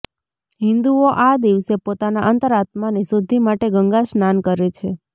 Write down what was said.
હિન્દુઓ આ દિવસે પોતાના અંતર આત્માની શુદ્ધિ માટે ગંગા સ્નાન કરે છે